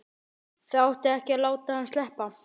Það átti ekki að láta hann sleppa!